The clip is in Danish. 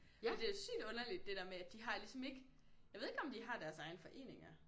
Og det er sygt underligt det der med at de har ligesom ikke jeg ved ikke om de har deres egne foreninger